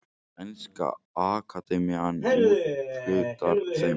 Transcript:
Sænska akademían úthlutar þeim.